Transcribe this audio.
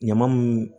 Ɲama mun